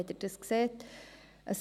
Wenn Sie dies sehen ...